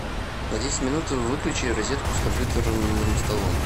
на десять минут выключи розетку с компьютерным столом